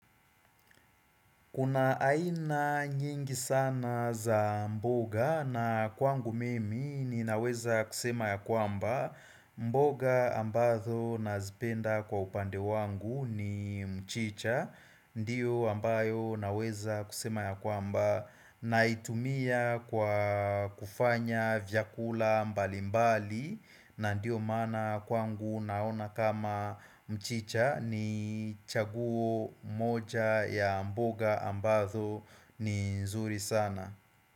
Kuna aina nyingi sana za mboga na kwangu mimi ni naweza kusema ya kwamba mboga ambazo nazipenda kwa upande wangu ni mchicha. Ndiyo ambayo naweza kusema ya kwamba naitumia kwa kufanya vyakula mbalimbali na ndiyo mana kwangu naona kama mchicha ni chaguo moja ya mboga ambazo ni nzuri sana.